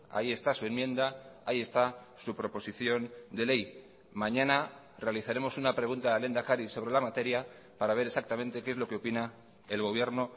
ahí está su enmienda ahí está su proposición de ley mañana realizaremos una pregunta al lehendakari sobre la materia para ver exactamente qué es lo que opina el gobierno